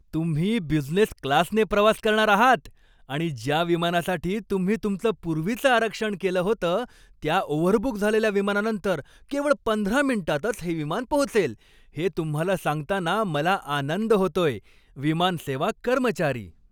तुम्ही बिझनेस क्लासने प्रवास करणार आहात आणि ज्या विमानासाठी तुम्ही तुमचं पूर्वीचं आरक्षण केलं होतं त्या ओव्हरबुक झालेल्या विमानानंतर केवळ पंधरा मिनिटांतच हे विमान पोहोचेल, हे तुम्हाला सांगताना मला आनंद होतोय. विमानसेवा कर्मचारी